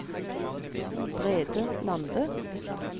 Brede Lande